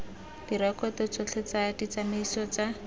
direkoto tsotlhe tsa ditsamaiso tsa